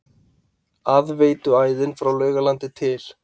Aðveituæðin frá Laugalandi til